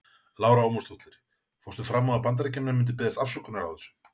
Lára Ómarsdóttir: Fórstu fram á að Bandaríkjamenn myndu biðjast afsökunar á þessu?